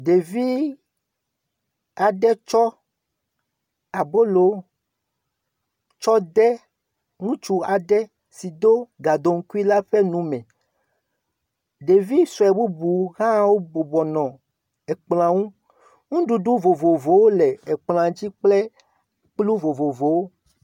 Ɖevi aɖe tsɔ abolo tsɔ de ŋtsu aɖe si do gadoŋkui a ƒe nu me. Ɖevi sue bubu hã wo bɔbɔnɔ ekplɔa ŋu. Ŋuɖuɖu vovovowo le ekplɔa dzi kple kplu vovovowo.